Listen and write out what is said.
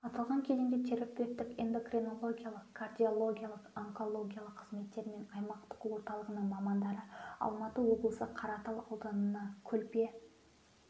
аталған кезеңде терапевтік эндокринологиялық кардиологиялық онкологиялық қызметтері мен аймақтық орталығының мамандары алматы облысы қаратал ауданы көлпе